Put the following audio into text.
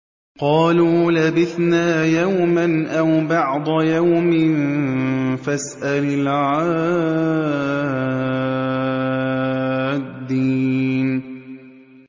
قَالُوا لَبِثْنَا يَوْمًا أَوْ بَعْضَ يَوْمٍ فَاسْأَلِ الْعَادِّينَ